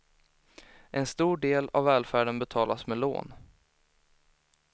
En stor del av välfärden betalas med lån.